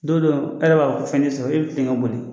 Don dɔ e yɛrɛ b'a fɔ ko fɛn tɛ sɔrɔ e bɛ tilen ka boli.